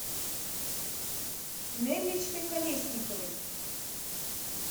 нелличкой колесниковой